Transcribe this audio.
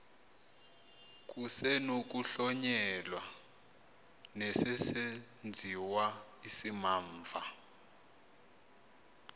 kusenokuhlonyelwa nesesenziwa isimamva